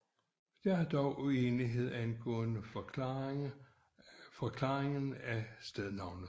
Der er dog uenighed angående forklaringen af stednavnet